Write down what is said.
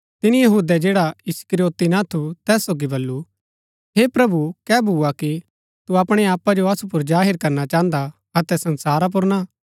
तिनी यहूदै जैडा इस्करियोती ना थू तैस सोगी बल्लू हे प्रभु कै भूआ कि तू अपणै आपा जो असु पुर जाहिर करणा चाहन्दा अतै संसारा पुर ना